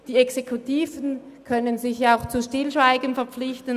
Die Exekutiven können sich auch zu Stillschweigen verpflichten;